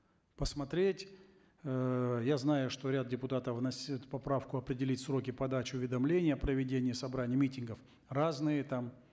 посмотреть эээ я знаю что ряд депутатов вносили эту поправку определить сроки подачи уведомления о проведении собраний митингов разные там